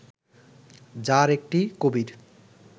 যার একটি কবির